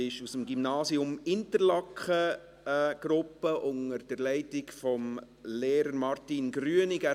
Diese Gruppe kommt aus dem Gymnasium Interlaken, unter der Leitung des Lehrers Martin Grünig.